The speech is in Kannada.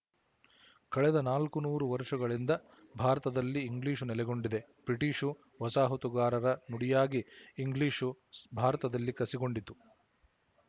ಕಳೆದ ನಾಲ್ಕನೂರು ವರುಶಗಳಿಂದ ಭಾರತದಲ್ಲಿ ಇಂಗ್ಲಿಶು ನೆಲೆಗೊಂಡಿದೆ ಬ್ರಿಟಿಶು ವಸಾಹತುಗಾರರ ನುಡಿಯಾಗಿ ಇಂಗ್ಲಿಶು ಭಾರತದಲ್ಲಿ ಕಸಿಗೊಂಡಿತು